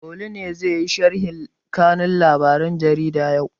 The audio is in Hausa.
Olu ne zai yi sharhin kanun labaren jarida yau?